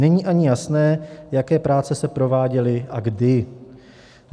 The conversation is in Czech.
Není ani jasné, jaké práce se prováděly a kdy.